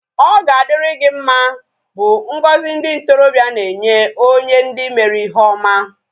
Ọ ga adịrị gị mma bụ ngọzi ndị ntorobịa na-enye onye ndị mere ihe oma